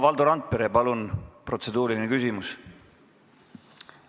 Valdo Randpere, palun protseduuriline küsimus!